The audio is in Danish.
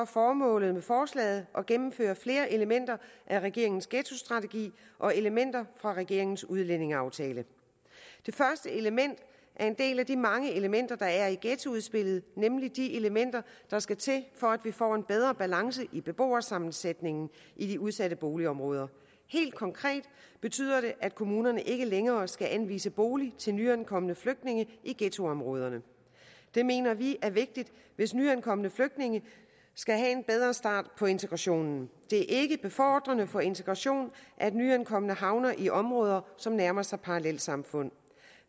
formålet med forslaget at gennemføre flere elementer af regeringens ghettostrategi og elementer fra regeringens udlændingeaftale det første element er en del af de mange elementer der er i ghettoudspillet nemlig de elementer der skal til for at vi får en bedre balance i beboersammensætningen i de udsatte boligområder helt konkret betyder det at kommunerne ikke længere skal anvise bolig til nyankomne flygtninge i ghettoområderne det mener vi er vigtigt hvis nyankomne flygtninge skal have en bedre start på integrationen det er ikke befordrende for integrationen at nyankomne havner i områder som nærmer sig parallelsamfund